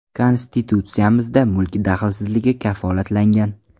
Konstitutsiyamizda mulk daxlsizligi kafolatlangan.